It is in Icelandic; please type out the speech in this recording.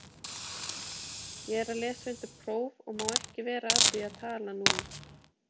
Ég er að lesa undir próf og má ekki vera að því að tala núna.